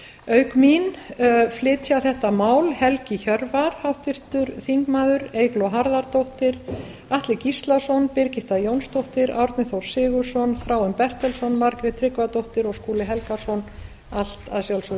auk mín flytja þetta mál helgi hjörvar eygló harðardóttir atli gíslason birgitta jónsdóttir árni þór sigurðsson þráinn bertelsson margrét tryggvadóttir og skúli helgason allt að sjálfsögðu